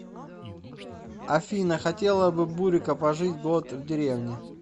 афина хотела бы бурико пожить год в деревне